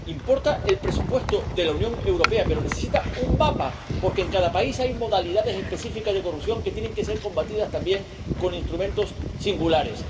Importa el presupuesto de la Unión Europea, pero necesita un mapa, porque en cada país hay modalidades específicas de corrupción que tienen que ser combatidas también con instrumentos singulares.